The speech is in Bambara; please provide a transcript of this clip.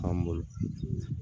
K'an bolo